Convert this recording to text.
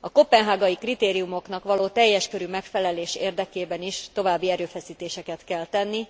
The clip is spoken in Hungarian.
A koppenhágai kritériumoknak való teljes körű megfelelés érdekében is további erőfeszítéseket kell tenni,